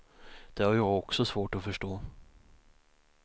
Det har jag också svårt att förstå.